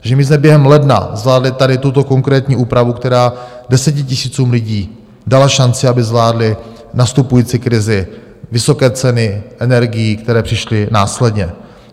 Takže my jsme během ledna zvládli tady tuto konkrétní úpravu, která desetitisícům lidí dala šanci, aby zvládli nastupující krizi, vysoké ceny energií, které přišly následně.